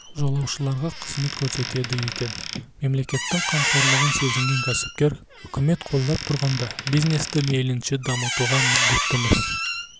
жолаушыларға қызмет көрсетеді екен мемлекеттің қамқорлығын сезінген кәсіпкер үкімет қолдап тұрғанда бизнесті мейлінше дамытуға міндеттіміз